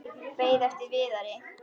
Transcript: Beið eftir Viðari.